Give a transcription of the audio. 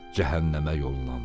Cəhənnəmə yollandı.